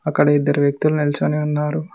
అక్కడ ఇద్దరు వ్యక్తులు నిల్చుకొని ఉన్నారు.